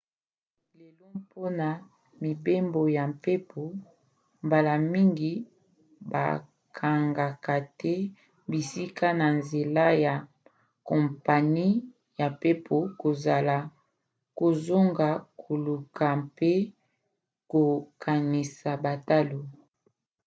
lelo mpona mibembo ya mpepo mbala mingi bakangaka te bisika na nzela ya kompani ya mpepo kozanga koluka mpe kokanisa batalo